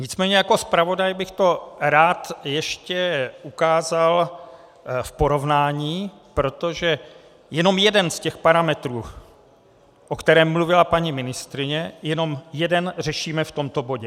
Nicméně jako zpravodaj bych to rád ještě ukázal v porovnání, protože jenom jeden z těch parametrů, o kterém mluvila paní ministryně, jenom jeden řešíme v tomto bodě.